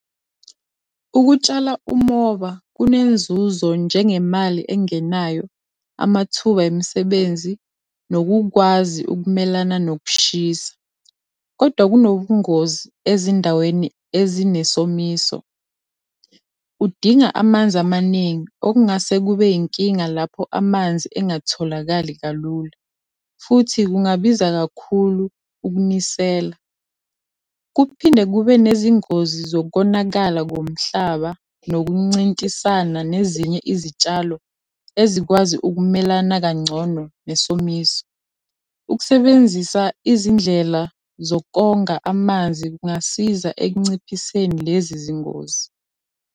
Ukutshala umoba kunenzuzo njengemali engenayo, amathuba emisebenzi, nokukwazi ukumelana nokushisa. Kodwa kunobungozi ezindaweni ezinesomiso. Udinga amanzi amaningi okungase kube yinkinga lapho amanzi engatholakali kalula, futhi kungabiza kakhulu ukunisela. Kuphinde kube nezingozi zokonakala komhlaba nokuncintisana nezinye izitshalo, ezikwazi ukumelana kangcono nesomiso. Ukusebenzisa izindlela zokonga amanzi kungasiza ekunciphiseni lezi zingozi.